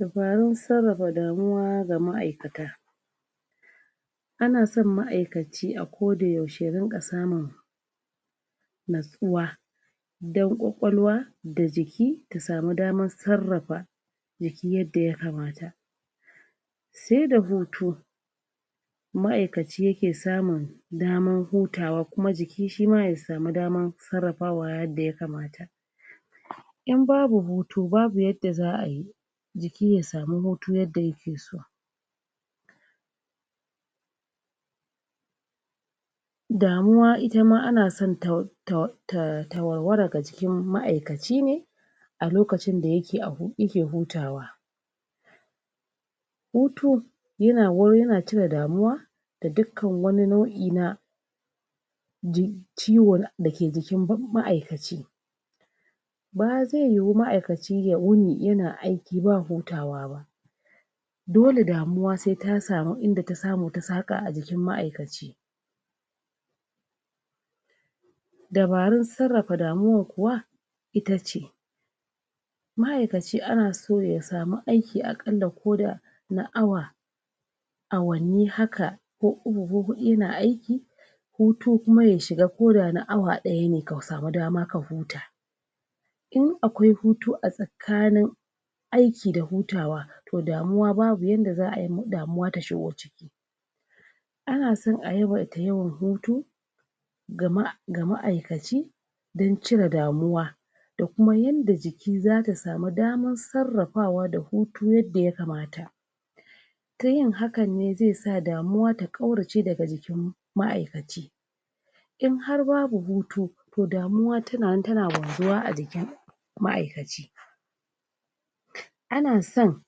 Dabarun sarrafa damuwa ga maʼaikata, ana son maʼaikaci a ko da yaushe ya rinƙa samun natsuwa dan ƙwaƙwalwa da jiki ta samu daman sarrafa jiki yadda ya kamata. sai da hutu Sai da hutu maʼaikaci ya ke samun daman hutawa kuma jiki ma ya sami daman sarrafawa yadda ya kamata. In babu hutu babu yadda za a yi jiki ya sami hutu yadda ya ke so. Damuwa ita ma ana san ta war ta war ta warwara ga jikin maʼaikaci ne a lokacin da ya ke hutawa. Hutu yana cire damuwa da dukkan wani nauʼi na ji ciwo da ke jikin maʼaikaci ba zai yiwu maʼaikaci ya yini yana aiki ba hutawa ba dole damuwa sai ta sami inda ta saƙa a jikin maʼaikaci. Dabarun sarrafa damuwan kuwa itace, maʼaikaci ana so ya sami aiki aƙalla ko da na awa awanni haka ko uku ko huɗu yana aiki hutu kuma ya shiga ko da na awa daya ne ka samu dama ka huta. In akwai hutu a tsakanin aiki da hutawa to damuwa babu yadda za a yi damuwa ta shigo ciki ana son a yawaita yin hutu ga maʼaikaci dan cire damuwa da kuma yadda jiki za ta sami daman sarrafawa da hutu yadda ya kamata ta yin hakan ne zai sa damuwa ta kaurace daga jikin maʼaikaci. In har babu hutu to damuwa ta nan ta na wanzuwa a jikin ma'aikaci. Ana son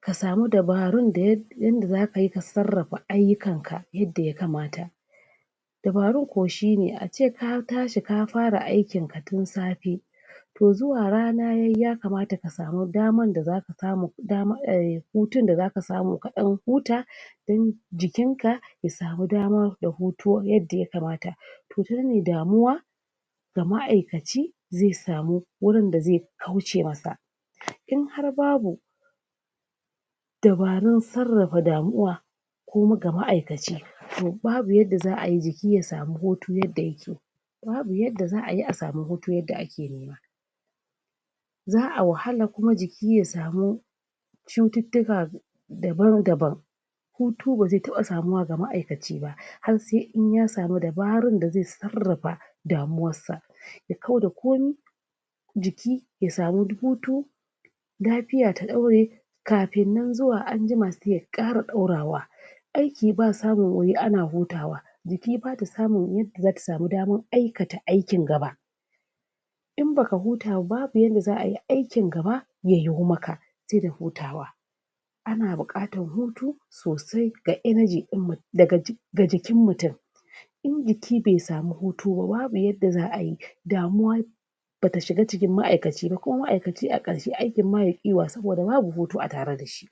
ka sami dabarun da za ka sarrafa ayyukanka yadda ya kamata, dabarun kuwa shine a ce ka tashi ka fara aikin ka tun safe toh zuwa rana ya yi ya kamata ka sami daman da zaka samu aiiii hutun da zaka samu ka ɗan huta don jikin ka ya sami dama da hutu yanda ya kamata to tanan ne damuwa ga maʼaikaci zai sami wurin da zai kauce masa in har babu dabarun sarrafa damuwa ga maʼaikaci to ba yadda za a yi jiki ya sami hutun yadda yake babu yadda za ayi a samu hutu yanda ake nema za a wahala kuma jiki ya samu cututtuka daban-daban Hutu ba zai taɓa samuwa ga maʼaikaci ba har sai ya sami dabarun yadda zai sarrafa damuwar sa ya kau da komi jiki ya sami hutu lafiya ta dore kafin nan zuwa anjima sai ya ƙara ɗaurawa aiki ba samun wuri ana hutawa jiki ba ta samun yadda zata sami daman aikata aikin gaba ina ba ka huta ba babu yadda za a yi aikin gaba ya yiwu maka sai da hutawa ana buƙatar hutu sosai ga energy din ga jikin mutum in jiki bai sami hutu ba babu yadda za ayi damuwa ba ta shiga jikin maʼaikaci ba aikin ma sai ya ƙi yiwuwa saboda babu hutu a tare da shi.